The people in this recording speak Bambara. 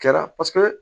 Kɛra paseke